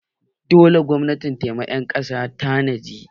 Dole gwamnati ta yi ma ƴan ƙasan ta tanadi!